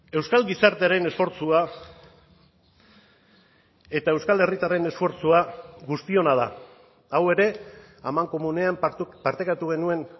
euskal gizartearen esfortzua eta euskal herritarren esfortzua guztiona da hau ere amankomunean partekatu genuen